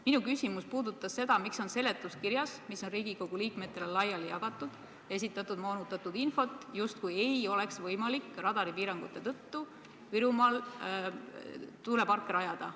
Minu küsimus puudutas seda, miks on seletuskirjas, mis on Riigikogu liikmetele laiali jagatud, esitatud moonutatud infot, justkui ei oleks võimalik radaripiirangute tõttu Virumaal tuuleparke rajada.